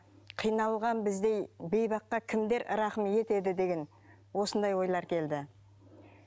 қиналған біздей бейбаққа кімдер рақым етеді деген осындай ойлар келді